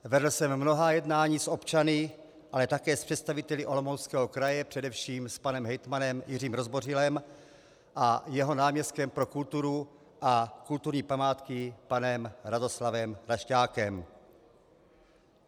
Vedl jsem mnohá jednání s občany, ale také s představiteli Olomouckého kraje, především s panem hejtmanem Jiřím Rozbořilem a jeho náměstkem pro kulturu a kulturní památky panem Radoslavem Kašťákem.